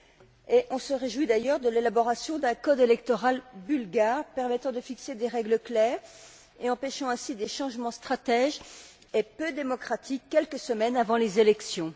Il faut d'ailleurs se réjouir de l'élaboration d'un code électoral bulgare permettant de fixer des règles claires et empêchant ainsi des changements stratégiques et peu démocratiques quelques semaines avant les élections.